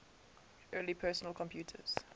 early personal computers